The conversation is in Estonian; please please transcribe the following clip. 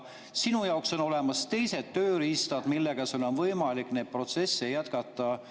Sinu jaoks on olemas teised tööriistad, millega sul on võimalik neid protsesse jätkata.